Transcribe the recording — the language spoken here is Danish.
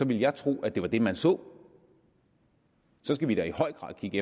ville jeg tro at det var det man så og så skal vi da i høj grad kigge